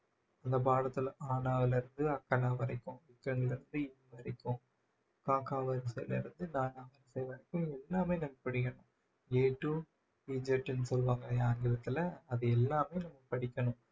இந்த பாடத்துல ஆனால இருந்து அக்கன்னா வரைக்கும் வரைக்கும் க கா வரிசையில இருந்து ன னா வரிசை வரைக்கும் எல்லாமே நாம படிக்கணும் a to z ன்னு சொல்லுவாங்க இல்லையா ஆங்கிலத்துல அது எல்லாமே நாம படிக்கணும்